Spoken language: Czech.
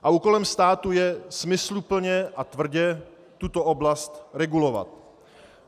A úkolem státu je smysluplně a tvrdě tuto oblast regulovat.